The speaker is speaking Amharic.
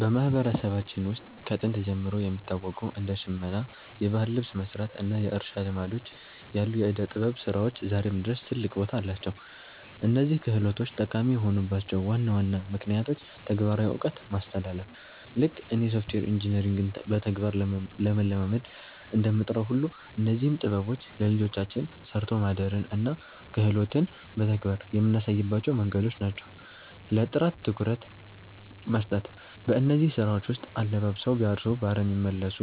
በማህበረሰባችን ውስጥ ከጥንት ጀምሮ የሚታወቁ እንደ ሽመና (የባህል ልብስ መስራት) እና የእርሻ ልማዶች ያሉ የዕደ-ጥበብ ስራዎች ዛሬም ድረስ ትልቅ ቦታ አላቸው። እነዚህ ክህሎቶች ጠቃሚ የሆኑባቸው ዋና ዋና ምክንያቶች ተግባራዊ እውቀት ማስተላለፍ፦ ልክ እኔ ሶፍትዌር ኢንጂነሪንግን በተግባር ለመለማመድ እንደምጥረው ሁሉ፣ እነዚህም ጥበቦች ለልጆቻችን 'ሰርቶ ማደርን' እና 'ክህሎትን' በተግባር የምናሳይባቸው መንገዶች ናቸው። ለጥራት ትኩረት መስጠት፦ በእነዚህ ስራዎች ውስጥ 'አለባብሰው ቢያርሱ በአረም ይመለሱ'